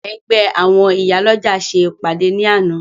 Ẹgbẹ́ àwọn Ìyálọ́jà ṣe ìpàdé ní àná